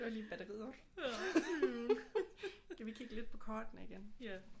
Det var lidt batteriet op skal vi kigge lidt på kortene igen